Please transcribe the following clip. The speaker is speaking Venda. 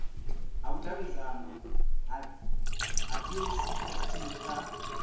ha vhudavhidzano ha dacst kha